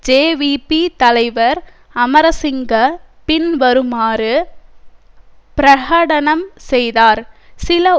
JVP தலைவர் அமரசிங்க பின்வருமாறு பிரகடனம் செய்தார் சில